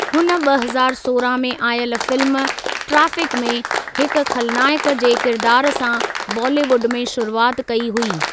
हुन ॿ हज़ार सोरहं में आयल फिल्म 'ट्रैफिक' में हिकु ख़लनायकु जे किरिदारु सां बॉलीवुड में शुरूआति कई हुई।